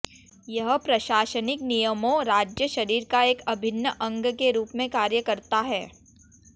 यह प्रशासनिक नियमों राज्य शरीर का एक अभिन्न अंग के रूप में कार्य करता है